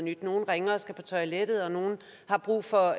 nyt nogen ringer og skal på toilettet nogen har brug for